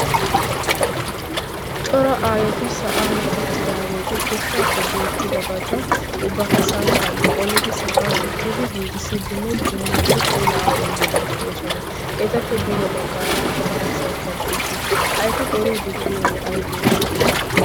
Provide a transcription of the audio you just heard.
cora aayoti sa'an uttidaageeti goshshaappe beettida bata ubbaka samppan qolidi sa'an uttidi giigissiiddinne punniidi pula awu immiidi de'oosona etappe duge baggaara attumaasaykka dees ha eti qoriiddi de'iyoogee aybeeshsha